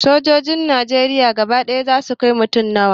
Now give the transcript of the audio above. Sojojin najeriya gaba ɗaya za su kai mutum nawa?